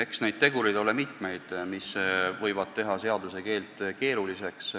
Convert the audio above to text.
Eks neid tegureid ole mitmeid, mis võivad seaduse keele keeruliseks teha.